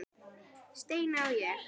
Steina og ég.